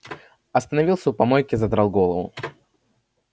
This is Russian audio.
остановился у помойки задрал голову